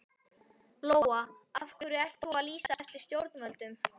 Lóa: Af hverju ert þú að lýsa eftir stjórnvöldum?